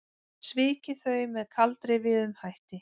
Svikið þau með kaldrifjuðum hætti.